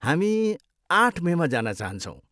हामी आठ मेमा जान चाहन्छौँ।